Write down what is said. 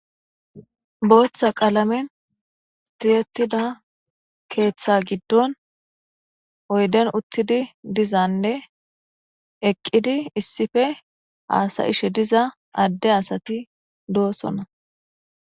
Botha qalameni tiyetidda ketha giddo oyideni utidi dizane eqidi isipe hasayishe diza ade asati dosona.